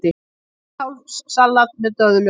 Hvítkálssalat með döðlum